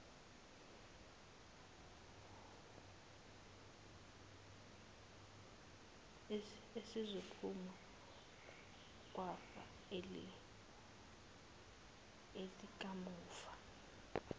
esizophuma kwifa likamufa